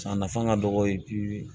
A nafa ka dɔgɔ bi